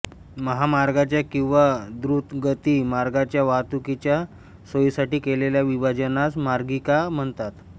महामार्गाच्या किंवा द्रुतगती मार्गाच्या वाहतुकीच्या सोयीसाठी केलेल्या विभाजनास मार्गिका म्हणतात